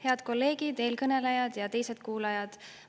Head kolleegid, eelkõnelejad ja teised kuulajad!